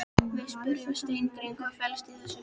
Við spyrjum Steingrím, hvað fellst í þessu?